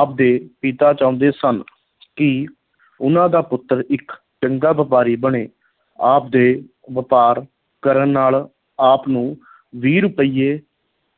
ਆਪ ਦੇ ਪਿਤਾ ਚਾਹੁੰਦੇ ਸਨ ਕਿ ਉਨ੍ਹਾਂ ਦਾ ਪੁੱਤਰ ਇੱਕ ਚੰਗਾ ਵਪਾਰੀ ਬਣੇ, ਆਪ ਦੇ ਵਪਾਰ ਕਰਨ ਨਾਲ ਆਪ ਨੂੰ ਵੀਹ ਰੁਪਈਏ